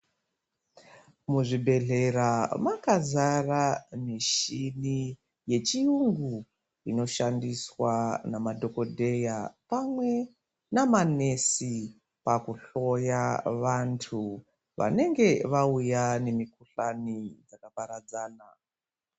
Muzvibhedhlera makazara michini yechiyungu inoshandiswa namadhokodheya pamwe namanesi pakuhloya vantu vanenge vauya nemikuhlane dzakaparadzana .